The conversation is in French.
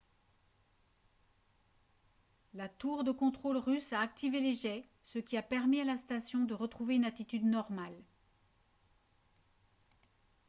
la tour de contrôle russe a activé les jets ce qui a permis à la station de retrouver une attitude normale